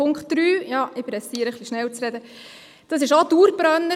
Punkt 3 – es blinkt, ja, ich beeile mich – ist auch ein Dauerbrenner.